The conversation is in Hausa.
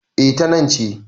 E, ta nan ce.